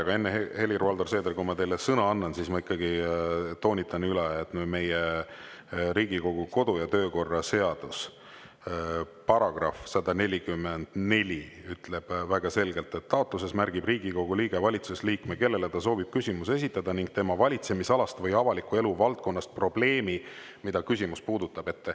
Aga enne, Helir-Valdor Seeder, kui ma teile sõna annan, ma ikkagi toonitan üle, et Riigikogu kodu- ja töökorra seaduse § 144 ütleb väga selgelt, et taotluses märgib Riigikogu liige valitsusliikme, kellele ta soovib küsimuse esitada ning tema valitsemisalast või avaliku elu valdkonnast probleemi, mida küsimus puudutab.